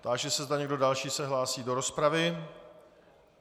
Táži se, zda někdo další se hlásí do rozpravy.